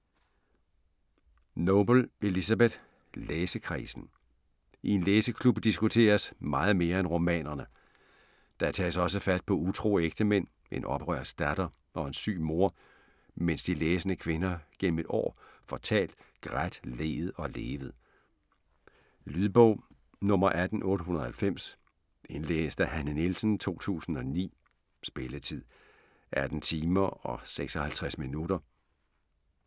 Noble, Elizabeth: Læsekredsen I en læseklub diskuteres meget mere end romanerne. Der tages også fat på utro ægtemænd, en oprørsk datter og en syg mor, mens de læsende kvinder gennem et år får talt, grædt, leet og levet. Lydbog 18890 Indlæst af Hanne Nielsen, 2009. Spilletid: 18 timer, 56 minutter.